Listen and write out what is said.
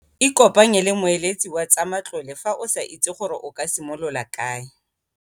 Ikopanye le moeletsi wa tsa matlole fa o sa itse gore o ka simolola kae.